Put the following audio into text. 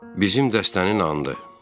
Bizim dəstənin andı.